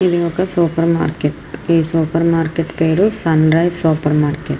ఇది ఒక supermarket . ఈ సూపర్ మార్కెట్ పేరు సన్ రైస్ సూపర్ మార్కేట్ .